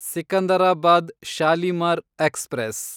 Secunderabad Shalimar express